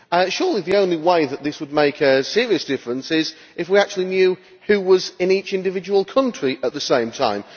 Surely the only way that this would make a serious difference is if we actually knew who was in each individual country at the same time?